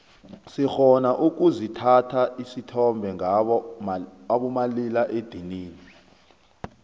sirhona ukuzithatha isithombe ngabo malila edinini